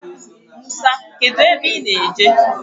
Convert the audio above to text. Musa, kedu ebe I ná-eje?